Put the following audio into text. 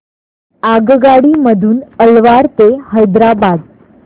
आगगाडी मधून अलवार ते हैदराबाद